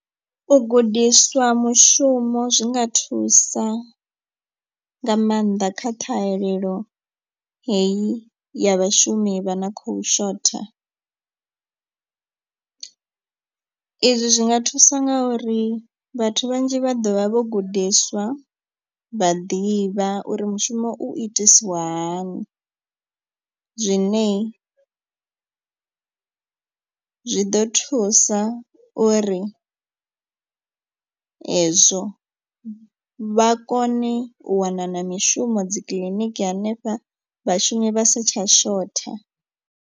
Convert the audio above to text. U gudiswa mushumo zwinga thusa nga maanḓa kha ṱhahelelo heyi ya vhashumi vha na khou shotha. I zwi zwi nga thusa nga uri vhathu vhanzhi vha ḓovha vho gudiswa vha ḓivha uri mushumo u itisiwa hani. Zwine zwi ḓo thusa uri ezwo vha kone u wana na mishumo dzikiḽiniki hanefha vhashumi vha sa tsha shotha.